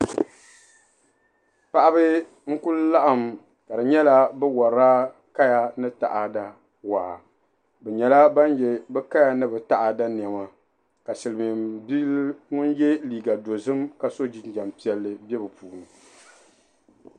paɣiba n-kuli laɣim ka di nyɛla bɛ warila kaya ni taada waa bɛ nyɛla ban ye bɛ kaya ni bɛ taada nɛma ka Silimiinbila ŋun ye liiga dozim ka so jinjam piɛlli be bɛ puuni.